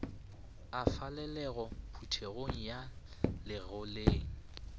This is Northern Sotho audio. a falalelago phuthegong ya legoleng